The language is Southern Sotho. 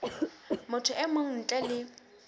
motho e mong ntle le